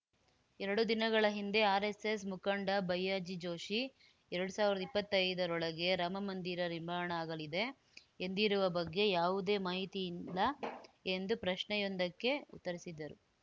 ಎರಡು ದಿನಗಳ ಹಿಂದೆ ಆರ್‌ಎಸ್‌ಎಸ್‌ ಮುಖಂಡ ಭಯ್ಯಾಜಿ ಜೋಷಿ ಎರಡ್ ಸಾವಿರ್ದಾ ಇಪ್ಪತ್ತೈದರೊಳಗೆ ರಾಮ ಮಂದಿರ ನಿರ್ಮಾಣ ಆಗಲಿದೆ ಎಂದಿರುವ ಬಗ್ಗೆ ಯಾವುದೇ ಮಾಹಿತಿಯಿಲ್ಲ ಎಂದು ಪ್ರಶ್ನೆಯೊಂದಕ್ಕೆ ಉತ್ತರಿಸಿದರು